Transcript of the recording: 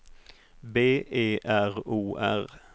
B E R O R